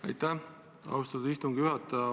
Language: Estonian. Aitäh, austatud istungi juhataja!